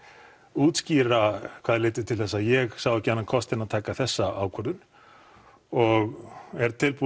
útskýra hvað leiddi til þess að ég sá ekki annan kost en að taka þessa ákvörðun og er tilbúinn